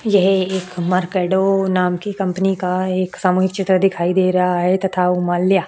यह एक मर्केडो नाम की कंपनी का एक सामूहिक चित्र दिखाई दे रहा है तथा उमाल्या --